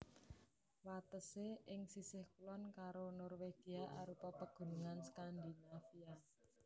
Watesé ing sisih kulon karo Norwegia arupa Pegunungan Skandinavia